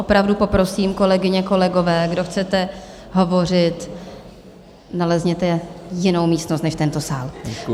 Opravdu poprosím, kolegyně, kolegové, kdo chcete hovořit, nalezněte jinou místnost než tento sál.